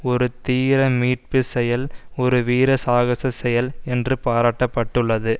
ஒரு தீர மீட்புச் செயல் ஒரு வீர சாகசச் செயல் என்று பாராட்டப்பட்டுள்ளது